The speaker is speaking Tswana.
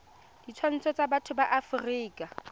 ditshwanelo tsa botho ya afrika